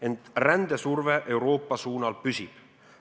Ent rändesurve Euroopa suunal püsib.